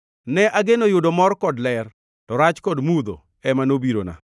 Ne ageno yudo mor kod ler; to rach kod mudho ema nobirona.